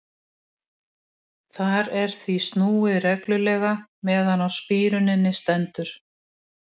Þar er því snúið reglulega meðan á spíruninni stendur.